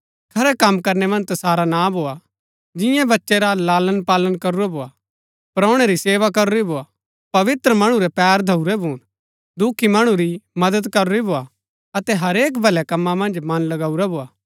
खरै कम करनै मन्ज तसारा नां भोआ जिन्यै बच्चै रा लालणपालन करूरा भोआ परोणै री सेवा करूरी भोआ पवित्र मणु रै पैर धोऊरै भून दुखी मणु री मदद करूरी भोआ अतै हरेक भल्‍लै कमां मन्ज मन लगऊरा भोआ